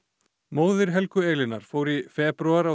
móðir Helgu Elínar fór í febrúar